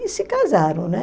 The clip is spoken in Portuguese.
e se casaram, né?